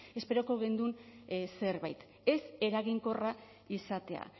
esperoko genuen zerbait ez eraginkorra izatea